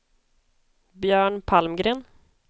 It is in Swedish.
Björn Palmgren